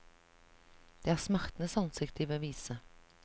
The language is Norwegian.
Det er smertens ansikt de vil vise.